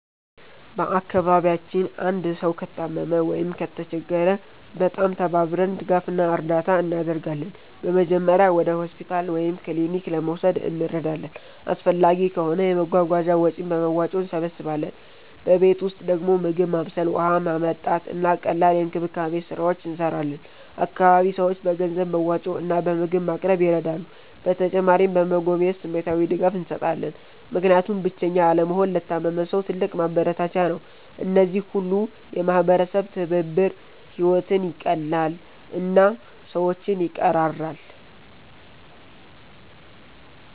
በአካባቢያችን አንድ ሰው ከታመመ ወይም ከተቸገረ በጣም ተባብረን ድጋፍ እና እርዳታ እናደርጋለን። በመጀመሪያ ወደ ሆስፒታል ወይም ክሊኒክ ለመውሰድ እንረዳለን፣ አስፈላጊ ከሆነ የመጓጓዣ ወጪን በመዋጮ እንሰብስባለን። በቤት ውስጥ ደግሞ ምግብ ማብሰል፣ ውሃ ማመጣት፣ እና ቀላል የእንክብካቤ ስራዎች እንሰራለን። አካባቢ ሰዎች በገንዘብ መዋጮ እና በምግብ ማቅረብ ይረዳሉ። በተጨማሪም በመጎብኘት ስሜታዊ ድጋፍ እንሰጣለን፣ ምክንያቱም ብቸኛ አለመሆን ለታመመ ሰው ትልቅ ማበረታቻ ነው። እነዚህ ሁሉ የማህበረሰብ ትብብር ሕይወትን ይቀላል እና ሰዎችን ይቀራራል።